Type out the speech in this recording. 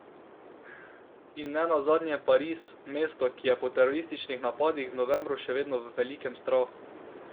In nenazadnje Pariz, mesto, ki je po terorističnih napadih v novembru še vedno v velikem strahu.